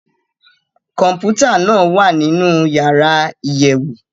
Kọmputa naa wa ninu yara iyẹwu.